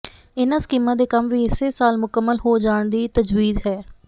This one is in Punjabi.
ਇਨਾਂ ਸਕੀਮਾਂ ਦੇ ਕੰਮ ਵੀ ਇਸੇ ਸਾਲ ਮੁਕੰਮਲ ਹੋ ਜਾਣ ਦੀ ਤਜਵੀਜ਼ ਹੈ